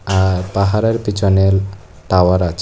আর পাহাড়ের পিছনেল টাওয়ার আছে।